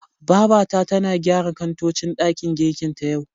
Babata tana gyara kantocin ɗakin girkin ta, yau.